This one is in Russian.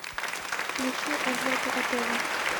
включи эдварда атева